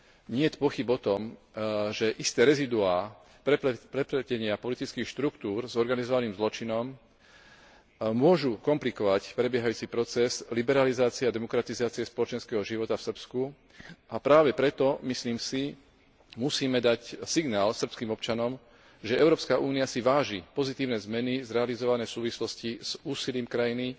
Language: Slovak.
Niet pochýb o tom, že isté rezíduá prepletenia politických štruktúr s organizovaným zločinom môžu komplikovať prebiehajúci proces liberalizácie a demokratizácie spoločenského života v Srbsku a práve preto, myslím si, musíme dať signál srbským občanom, že Európska únia si váži pozitívne zmeny zrealizované v súvislosti s úsilím krajiny